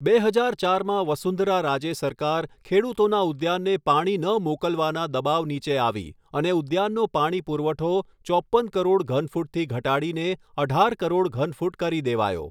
બે હજાર ચારમાં વસુંધરા રાજે સરકાર ખેડૂતોના ઉદ્યાનને પાણી ન મોકલવાના દબાવ નીચે આવી અને ઉદ્યાનનો પાણી પુરવઠો ચોપ્પન કરોડ ઘન ફૂટથી ઘટાડીને અઢાર કરોડ ઘન ફૂટ કરી દેવાયો.